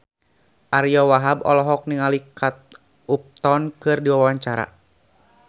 Ariyo Wahab olohok ningali Kate Upton keur diwawancara